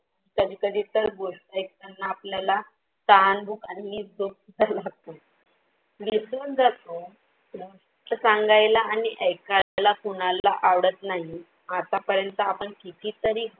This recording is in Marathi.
कधी कधी तर गोष्ट ऐकतांना आपल्याला तहान, भूख आणि झोप सुद्धा लागतो विसरून जातो गोष्ट सांगायला आणि ऐकायला कुणाला आवडत नाही आता पर्यंत आपण किती तरी